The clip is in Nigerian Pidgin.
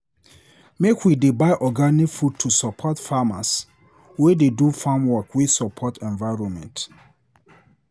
Make we dey buy organic food to support farmers wey dey do farmwork wey support environment.